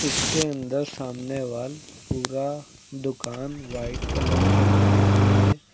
इसके अंदर सामने वॉल पूरा दुकान व्हाइट कलर से पेंट हुई है।